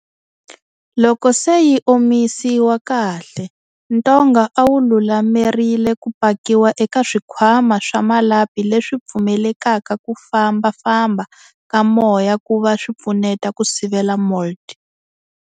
Loko se yi omisiwa kahle, ntonga a wu lulamerile ku pakiwa eka swikhwama swa malapi leswi pfumelelaka ku fambafamba ka moya ku va swipfuneta ku sivela mould.